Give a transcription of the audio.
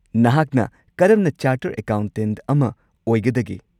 ꯅꯍꯥꯛꯅ ꯀꯔꯝꯅ ꯆꯥꯔꯇꯔꯗ ꯑꯦꯀꯥꯎꯟꯇꯦꯟꯠ ꯑꯃ ꯑꯣꯏꯒꯗꯒꯦ?